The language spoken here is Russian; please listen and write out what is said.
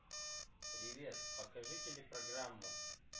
привет покажи телепрограмму